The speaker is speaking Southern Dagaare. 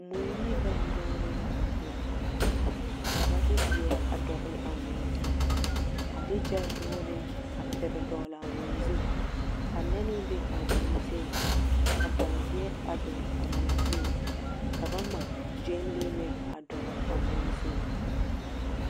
Mui ne bɛŋ dogere la a biŋ, ka ba de zeɛre a dɔgele a mui zu, a de hyɛldogere a pere dɔgele amui zu. Ka nɛne be a mui zuŋ. Ka bɔɔgeɛ a dɔgele a mui zuŋ. Ka ba ŋma gyenlee meŋ a dɔgele a mui zuŋ.